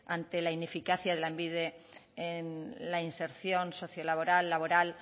ante la ineficacia de lanbide en la inserción socio laboral laboral